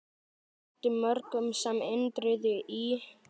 Þótti mörgum sem Indriði í